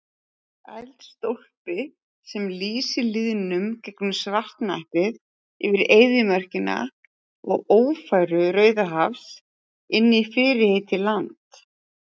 Eldstólpi sem lýsir lýðnum gegnum svartnættið yfir eyðimörkina og ófæru Rauðahafs inní fyrirheitið land